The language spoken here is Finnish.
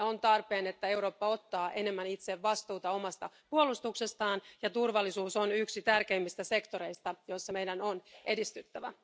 On tarpeen, että Eurooppa ottaa enemmän itse vastuuta omasta puolustuksestaan, ja turvallisuus on yksi tärkeimmistä sektoreista, joilla meidän on edistyttävä.